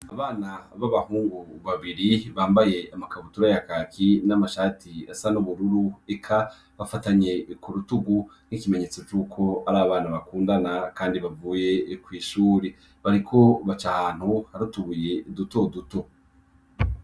Abana babahungu babiri bambaye amakabutura ya kaki n'amashati asa nubururu eka bafatanye kurutugu nkikimenyetso cuko ari abana bakundana kandi bavuye kwishure. Bariko baca ahantu hari utubuye dutoduto.